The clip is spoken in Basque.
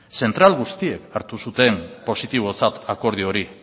zentral guztiek hartu zuten positibotzat akordio hori